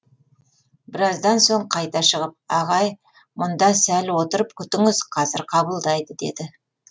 біраздан соң қайта шығып ағай мұнда сәл отырып күтіңіз қазір қабылдайды деді